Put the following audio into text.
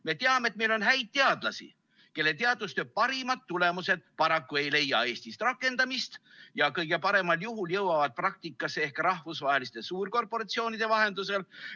Me teame, et meil on häid teadlasi, kelle teadustöö parimad tulemused ei leia Eestis paraku rakendamist ja kõige paremal juhul jõuavad praktikasse ehk rahvusvaheliste suurkorporatsioonide vahendusel.